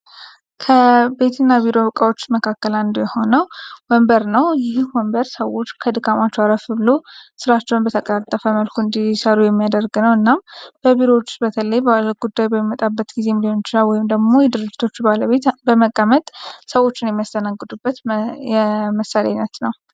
ከቤትና ቢሮ እቃዎች መካከል ሆኖ ወንበር ነው ይህ ሰዎች ከድጋሚ የሚያደርገው እና በቢሮዎች ጉዳይ በመጣበት ጊዜ ድርጅቶች ባለቤት በመቀመጥ ሰዎች የሚያስተናግዱበት የመሳሪያ አይነት ነው።